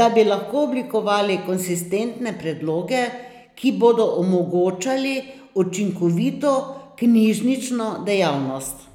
da bi lahko oblikovali konsistentne predloge, ki bodo omogočali učinkovito knjižnično dejavnost.